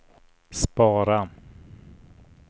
spara